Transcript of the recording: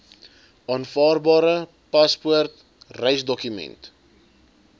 aanvaarbare paspoort reisdokument